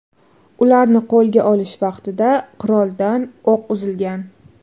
Ularni qo‘lga olish vaqtida quroldan o‘q uzilgan.